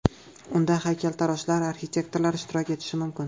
Unda haykaltaroshlar, arxitektorlar ishtirok etishi mumkin.